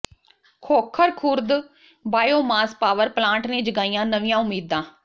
Khokhar Khurd biomass power plant ਨੇ ਜਗਾਈਆਂ ਨਵੀਆਂ ਉਮੀਦਾਂ